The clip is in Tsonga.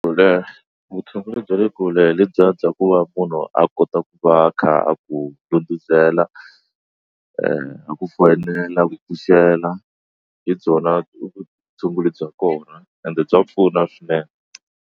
Leha vutshunguri bya le kule hi lebyiya bya ku va munhu a kota ku va a kha a ku ndudhunzela a ku fonela a ku pfuxela hi byona vutshunguri bya kona ende bya pfuna swinene.